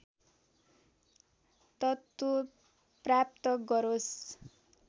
तत्त्व प्राप्त गरोस्